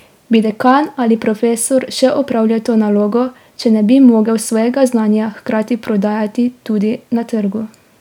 Bi dekan ali profesor še opravljal to nalogo, če ne bi mogel svojega znanja hkrati prodajati tudi na trgu?